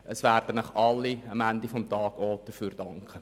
Am Ende des Tages werden Ihnen alle dafür danken.